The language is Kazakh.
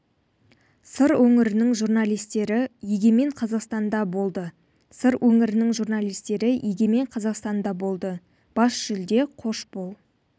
сыр өңірінің журналистері егемен қазақстанда болды сыр өңірінің журналистері егемен қазақстанда болды бас жүлде қош бол